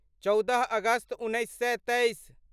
चौदह अगस्त उन्नैस सए तेइस